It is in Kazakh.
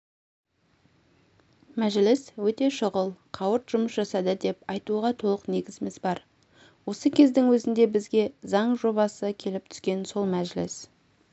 мәжіліс өте шұғыл қауырт жұмыс жасады деп айтуға толық негізіміз бар осы кездің өзінде бізге заң жобасы келіп түскен сол мәжіліс